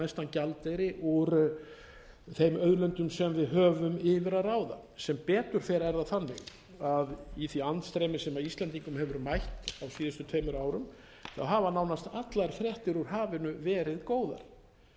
gjaldeyri úr þeim auðlindum sem við höfum yfir að ráða sem betur fer er það þannig að í því andstreymi sem íslendingum hefur mætt á síðustu tveimur árum hafa nánast allar fréttir úr hafinu verið góðar